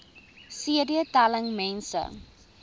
cd telling mense